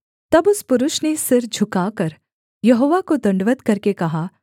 तब उस पुरुष ने सिर झुकाकर यहोवा को दण्डवत् करके कहा